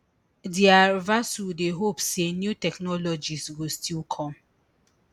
DR vasu dey hope say new technologies go still come